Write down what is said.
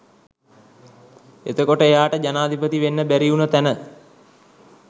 එතකොට එයාට ජනාධිපති වෙන්න බැරි වුණු තැන